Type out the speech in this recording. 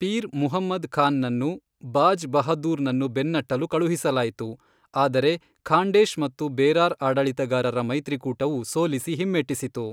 Peer Muhammad Khan ನನ್ನು ಬಾಜ್ ಬಹದ್ದೂರ್ ನನ್ನು ಬೆನ್ನಟ್ಟಲು ಕಳುಹಿಸಲಾಯಿತು ಆದರೆ ಖಾಂಡೇಶ್ ಮತ್ತು ಬೇರಾರ್ ಆಡಳಿತಗಾರರ ಮೈತ್ರಿಕೂಟವು ಸೋಲಿಸಿ ಹಿಮ್ಮೆಟ್ಟಿಸಿತು.